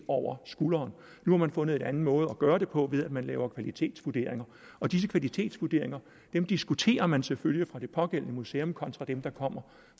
over skulderen nu har man fundet en anden måde at gøre det på ved at man laver kvalitetsvurderinger og disse kvalitetsvurderinger diskuterer man selvfølgelig på det pågældende museum kontra dem der kommer